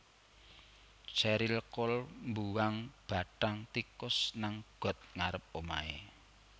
Cheryl Cole mbuwang bathang tikus nang got ngarep omahe